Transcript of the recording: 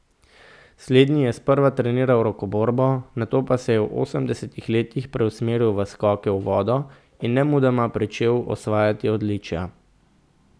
Slednji je sprva treniral rokoborbo, nato pa se je v osemdesetih letih preusmeril v skoke v vodo in nemudoma pričel osvajati odličja.